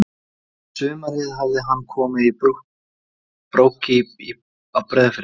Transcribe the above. Um sumarið hafði hann komið í Brokey á Breiðafirði.